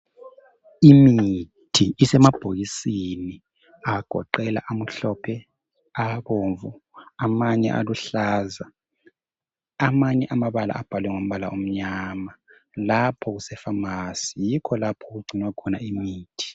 Imithi isemabhokisini agoqela amhlophe abomvu amanye aluhlaza amanye amabala abhalwe ngombala omnyama lapho kuse phamasi yikho okugcinwa khona imithi.